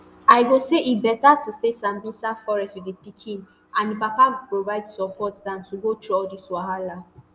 i go say e beta to stay [sambisa forest] wit di pikin and di papa go provide support dan to go through all dis wahala